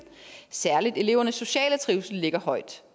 særlig elevernes sociale trivsel ligger højt